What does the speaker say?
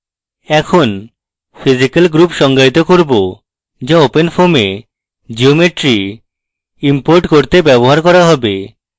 এখন physical groups সংজ্ঞায়িত করব যা openfoam we geometry ইম্পোর্ট করতে ব্যবহার করা হবে